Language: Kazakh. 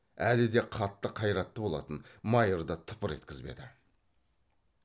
әлі де қатты қайратты болатын майырды тыпыр еткізбеді